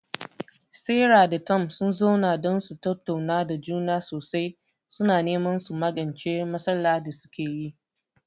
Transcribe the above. Sarah da Tom sun zauna don su tattauna da juna sosai, suna neman su magance matsalar da suke yi.